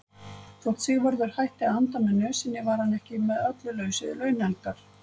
Þótt Sigvarður hætti að anda með nösinni var hann ekki með öllu laus við launhelgar.